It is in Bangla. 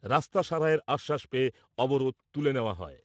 রাস্তা সারাইয়ের আশ্বাস পেয়ে অবরোধ তুলে নেওয়া হয়।